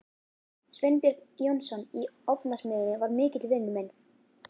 Sveinbjörn Jónsson í Ofnasmiðjunni var mikill vinur minn.